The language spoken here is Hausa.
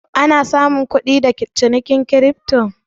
Ana samun kudi da cinikin kirifto?